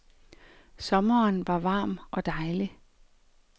Sommeren var varm og dejlig.